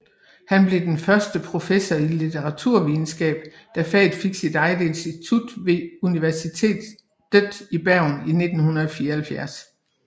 Han blev den første professor i litteraturvidenskab da faget fik sit eget institut ved Universitetet i Bergen i 1974